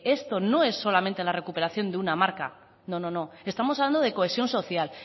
esto no es solamente en la recuperación de una marca no no no estamos hablando de cohesión social